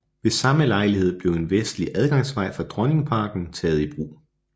Ved samme lejlighed blev en vestlig adgangsvej fra Dronningparken taget i brug